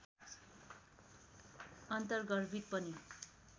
अन्तर्गर्भित पनि